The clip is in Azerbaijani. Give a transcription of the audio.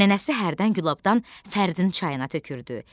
Nənəsi hərdən gülabdan Fərdin çayına tökürdü.